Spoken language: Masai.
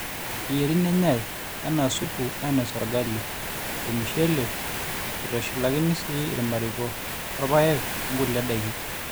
eyieri nenyai enaa subu ainosie orgali, ormushele, eitushulakini sii irmariko, irpaek onkulie daiki